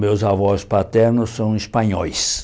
Meus avós paternos são espanhóis.